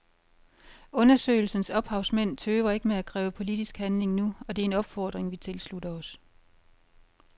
Undersøgelsens ophavsmænd tøver ikke med at kræve politisk handling nu, og det er en opfordring vi tilslutter os.